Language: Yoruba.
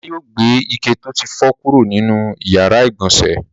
Ọlá yóò gbé ike tó ti fọ́ kúrò nínú ìyàrá-ìgbọ̀nsẹ̀.